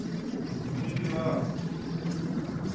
petirasi